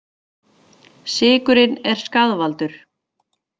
Sykurinn er skaðvaldur